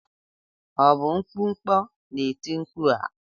Ọ bụ mkpụkpọ na-eti mkpu a?